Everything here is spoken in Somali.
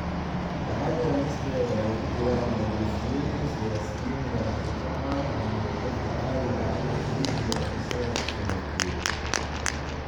Waxaa jira liis dheer oo ay ku jiraan maleeshiyooyin, siyaasiyiin, ganacsato caan ah iyo dadka caadiga ah ee Liibiya oo isaga ka soo horjeeda.